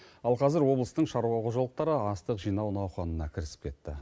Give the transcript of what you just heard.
ал қазір облыстың шаруа қожалықтары астық жинау науқанына кірісіп кетті